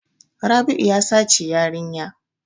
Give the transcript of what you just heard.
Rabi'u ya sace yarinya.